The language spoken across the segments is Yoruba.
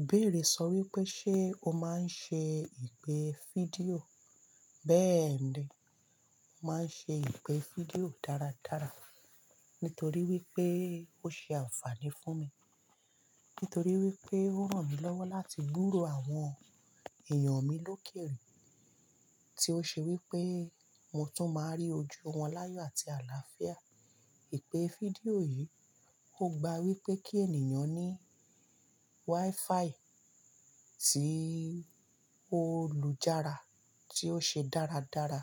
Ìbéèrè sọ wípé ṣe ó máa ń ṣe ìpè fídíò? Bẹ́ẹ̀ ni, mo máa ń ṣe ìpè fídíò dáradára nítorí wípé ó ṣe àǹfààní fún mi. Nítorí wípé ó ràn mí lọ́wọ́ láti gbúró àwọn èèyàn mi lókèèrè, tí ó ṣe wípé mo tún máa rí ojú wọn láyọ̀ àti àlàáfíà. Ìpè fídíò yìí ó gba wípé kí ènìyàn ní wifi tí ó lújára tí ó ṣe dáradára.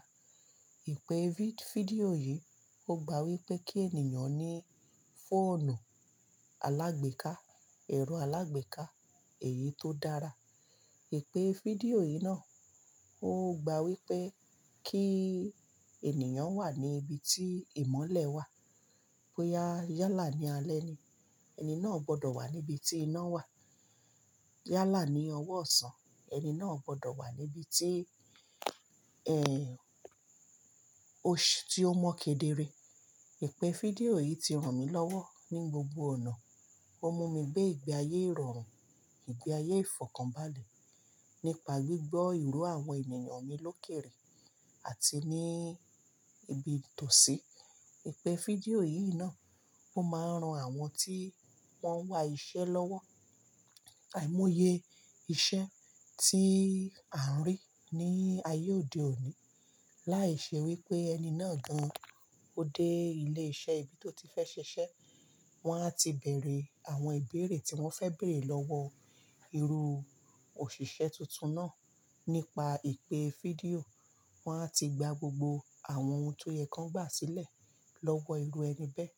Ìpè fídíò yìí ó gba wípé kí ènìyàn ní fóònù alágbèéká, ẹ̀rọ alágbèéká èyí tó dára. Ìpè fídíò yìí náà ó gba wípé kí ènìyàn wà ní ibi tí ìmọ́lẹ̀ wà. Bóyá yálà ní alẹ́ ni, ẹni náà gbọ́dọ̀ wà níbi tí iná wà. Yálà ní ọwọ́ ọ̀sán, ẹni náà gbọ́dọ̀ wà níbi tí, ẹ́, oṣù tí ó mọ́ kedere. Ìpè fídíò yìí ti ràn mí lọ́wọ́ ní gbogbo ọ̀nà. Ó mú mi gbé ìgbé ayé ìrọ̀rùn, ìgbé ayé ìfọ̀kànbalẹ̀ nípa gbígbọ́ ìró àwọn ènìyàn mi lókèèrè àti ní ibi tòsí. Ìpè fídíò yìí náà ó máa ń ran àwọn tí wọ́n ń wá iṣẹ́ lọ́wọ́. Àìmọye iṣẹ́ tí a ń rí ní ayé òde òní láì ṣe wípé ẹni náà gan-an ó dé ilé iṣẹ́ ibi tó ti fẹ́ ṣiṣẹ́. Wọ́n á ti bẹ̀rẹ̀ àwọn ìbéèrè tí wọ́n fẹ́ bèèrè lọ́wọ́ irú òṣìṣẹ́ tuntun náà nípa ìpè fídíò. Wọ́n á ti gba gbogbo àwọn ohun tó yẹ kí wọ́n gbà sílẹ̀ lọ́wọ́ irú ẹni bẹ́ẹ̀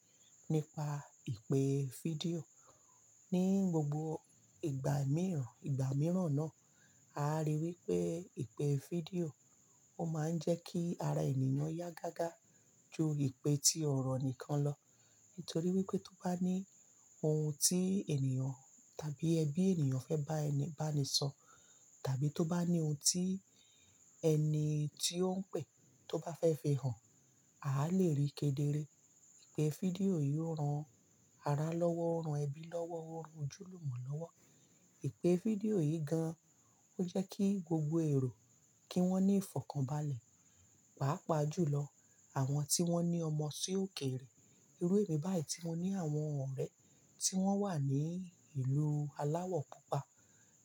nípa ìpè fídíò. Ní gbogbo ìgbà mìíràn, ìgbà mìíràn náà, a rí i wípé ìpè fídíò ó máa ń jẹ́ kí ara ènìyàn yá gágá ju ìpè tí ọ̀rọ̀ nìkan lọ. Nítorí wípé tó bá ní ohun tí ènìyàn tàbí ẹbí ènìyàn fẹ́ bá ẹni bá ni sọ, tàbí tó bá ní ohun tí ẹni tí ó ń pè tó bá fẹ́ fi hàn, à á lè rí i kedere. Ìpè fídíò yìí ó ran ara lọ́wọ́, ó ran ẹbí lọ́wọ́, ó ran ojúlùmọ̀ lọ́wọ́. Ìpè fídíò yìí gan-an ó jẹ́ kí gbogbo èrò kí wọ́n ní ìfọ̀kànbalẹ̀. Páápàá jùlọ àwọn tí wọ́n ní ọmọ sí o kèrè. Irú èmi báyìí tí mo ní àwọn ọ̀rẹ́ tí wọ́n wà ní ìlú aláwọ̀ púpà,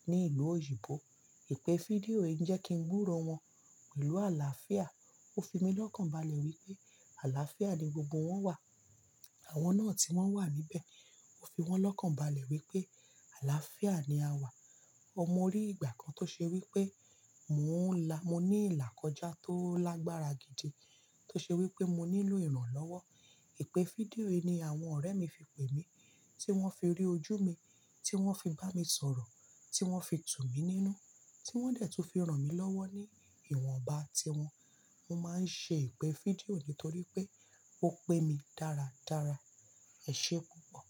ní ìlú òyìnbó. Ìpè fídíò yìí jẹ́ kí n gbúró wọn pẹ̀lú àlàáfíà. Ó fi mí lọ́kàn balẹ̀ wípé àlàáfíà ni gbogbo wọ́n wà. Àwọn náà tí wọ́n wà níbẹ̀ ó fi wọ́n lọ́kànbalẹ̀ wípé àlàáfíà ni a wà ọmọ rí ìgbà kan tó ṣe wípé mo ń ní ìlà kọjá tó lágbára gidi tó ṣe wípé mo nílò ìrànlọ́wọ́ ìpè fídíò yìí ni àwọn ọ̀rẹ́ mi fi pè mí tí wọ́n fi rí ojú mi, tí wọ́n fi bá mi sọ̀rọ̀, tí wọ́n fi tù mí nínú, tí wọ́n dẹ̀ tún fi ràn mí lọ́wọ́ ní ìwọ̀nba tí wọn. Mo máa ń ṣe ìpè fídíò nítorí pé ó pé mi dáradára. Ẹ ṣé púpọ̀.